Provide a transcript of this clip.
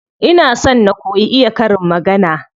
Ina so na koyi iya karin magana.